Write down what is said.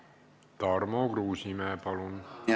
Tarmo Kruusimäe, palun!